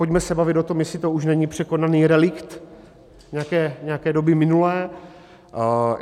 Pojďme se bavit o tom, jestli to už není překonaný relikt nějaké doby minulé.